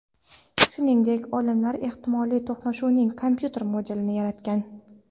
shuningdek, olimlar ehtimoly to‘qnashuvning kompyuter modelini yaratgan.